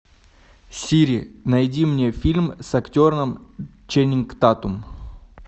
сири найди мне фильм с актером ченнинг татум